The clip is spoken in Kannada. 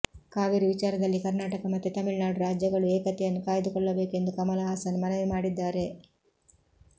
ಕಾವೇರಿ ವಿಚಾರದಲ್ಲಿ ಕರ್ನಾಟಕ ಮತ್ತು ತಮಿಳುನಾಡು ರಾಜ್ಯಗಳು ಏಕತೆಯನ್ನು ಕಾಯ್ದುಕೊಳ್ಳಬೇಕು ಎಂದು ಕಮಲ್ ಹಾಸನ್ ಮನವಿ ಮಾಡಿದ್ದಾರೆ